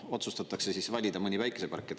Otsustatakse valida mõni päikesepark.